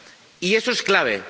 Y eso es clave.